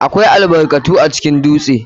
AKWAI albarkatu acikin dutse.